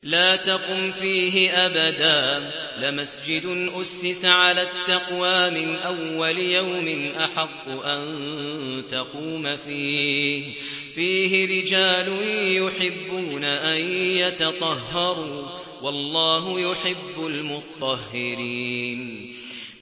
لَا تَقُمْ فِيهِ أَبَدًا ۚ لَّمَسْجِدٌ أُسِّسَ عَلَى التَّقْوَىٰ مِنْ أَوَّلِ يَوْمٍ أَحَقُّ أَن تَقُومَ فِيهِ ۚ فِيهِ رِجَالٌ يُحِبُّونَ أَن يَتَطَهَّرُوا ۚ وَاللَّهُ يُحِبُّ الْمُطَّهِّرِينَ